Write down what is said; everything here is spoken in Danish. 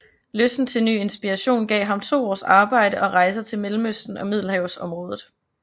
Lysten til ny inspiration gav ham to års arbejde og rejser til Mellemøsten og Middelhavsområdet